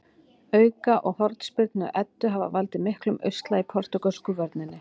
Auka- og hornspyrnu Eddu hafa valdið miklum usla í portúgölsku vörninni.